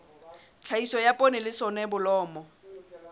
tlhahiso ya poone le soneblomo